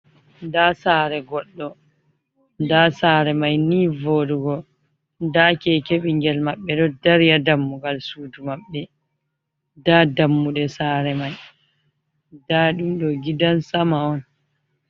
Nda sare goɗɗo, nda sare mai ni voɗugo, nda keke ɓingel maɓɓe do dari ha dammugal sudu maɓɓe, nda dammuɗe sare mai, nda ɗum ɗo gidan sama on.